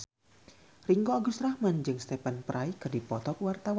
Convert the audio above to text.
Ringgo Agus Rahman jeung Stephen Fry keur dipoto ku wartawan